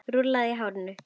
Rúllur í hárinu.